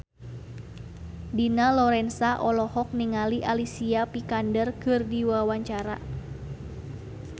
Dina Lorenza olohok ningali Alicia Vikander keur diwawancara